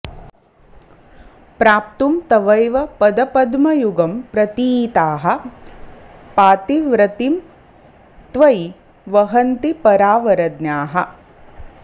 प्राप्तुं तवैव पदपद्मयुगं प्रतीताः पातिव्रतीं त्वयि वहन्ति परावरज्ञाः